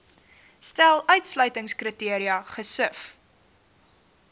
stel uitsluitingskriteria gesif